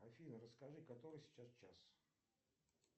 афина расскажи который сейчас час